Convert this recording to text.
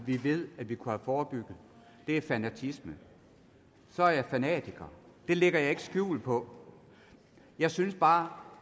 vi ved at vi kunne forebygget det er fanatisme så er jeg fanatiker det lægger jeg ikke skjul på jeg synes bare